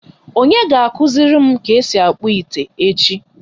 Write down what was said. Onye ga akuziri m ka esi akpu ite echi?